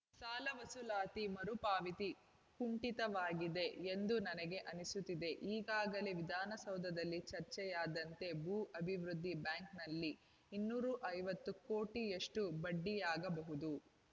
ಸಾಲ ವಸೂಲಾತಿ ಮರು ಪಾವತಿ ಕುಂಠಿತವಾಗಿದೆ ಎಂದು ನನಗೆ ಅನಿಸುತ್ತಿದೆ ಈಗಾಗಲೇ ವಿಧಾನಸಭೆಯಲ್ಲಿ ಚರ್ಚೆಯಾದಂತೆ ಭೂ ಅಭಿವೃದ್ಧಿ ಬ್ಯಾಂಕ್‌ನಲ್ಲಿ ಇನ್ನೂರ ಐವತ್ತು ಕೋಟಿಯಷ್ಟುಬಡ್ಡಿಯಾಗಬಹುದು